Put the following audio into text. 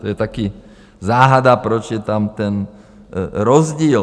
To je také záhada, proč je tam ten rozdíl.